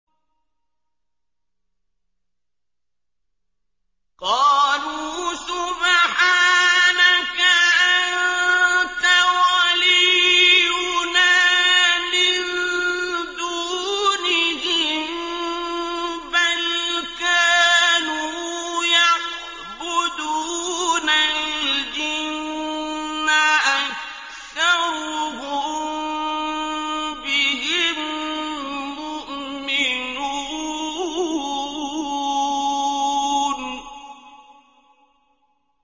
قَالُوا سُبْحَانَكَ أَنتَ وَلِيُّنَا مِن دُونِهِم ۖ بَلْ كَانُوا يَعْبُدُونَ الْجِنَّ ۖ أَكْثَرُهُم بِهِم مُّؤْمِنُونَ